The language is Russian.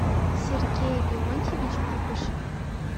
сергей леонтьевич пупышев